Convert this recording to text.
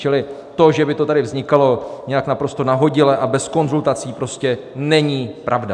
Čili to, že by to tady vznikalo nějak naprosto nahodile a bez konzultací, prostě není pravda.